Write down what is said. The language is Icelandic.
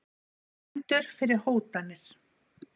Dæmdur fyrir hótanir